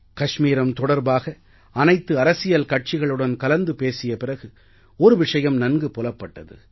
காஷ்மீரம் தொடர்பாக அனைத்து அரசியல் கட்சிகளுடன் கலந்து பேசிய பிறகு ஒரு விஷயம் நன்கு புலப்பட்டது